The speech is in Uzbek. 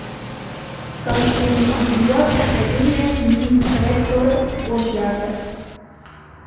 Toshkent tibbiyot akademiyasining rektori o‘zgardi.